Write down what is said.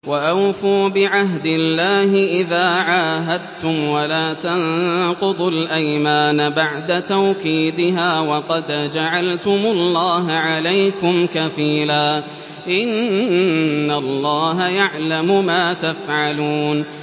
وَأَوْفُوا بِعَهْدِ اللَّهِ إِذَا عَاهَدتُّمْ وَلَا تَنقُضُوا الْأَيْمَانَ بَعْدَ تَوْكِيدِهَا وَقَدْ جَعَلْتُمُ اللَّهَ عَلَيْكُمْ كَفِيلًا ۚ إِنَّ اللَّهَ يَعْلَمُ مَا تَفْعَلُونَ